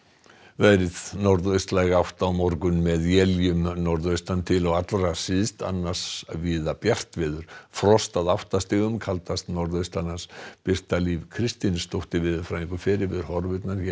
norðaustlæg átt á morgun með éljum norðaustan til og allra syðst annars víða bjart veður frost að átta stigum kaldast norðaustanlands Birta Líf Kristinsdóttir veðurfræðingur fer yfir horfurnar hér